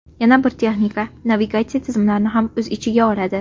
Yana bir texnika navigatsiya tizimlarini o‘z ichiga oladi.